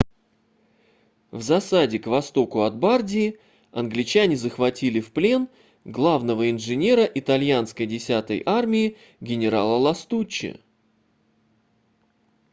в засаде к востоку от бардии англичане захватили в плен главного инженера итальянской 10-й армии генерала ластуччи